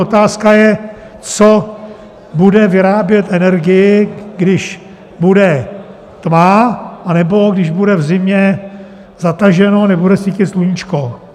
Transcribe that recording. Otázka je, co bude vyrábět energii, když bude tma nebo když bude v zimě zataženo, nebude svítit sluníčko.